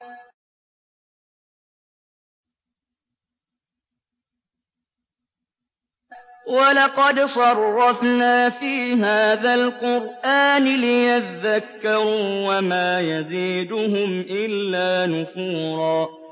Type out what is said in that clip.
وَلَقَدْ صَرَّفْنَا فِي هَٰذَا الْقُرْآنِ لِيَذَّكَّرُوا وَمَا يَزِيدُهُمْ إِلَّا نُفُورًا